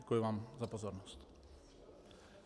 Děkuji vám za pozornost.